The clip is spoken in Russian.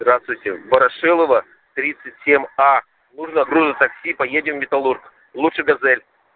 здравствуйте ворошилова тридцать семь а нужно грузотакси поедем в металлург лучше газель